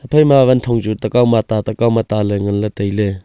ephai ma wanthong chu takaw na ta takaw ma ta ngan ley tai ley.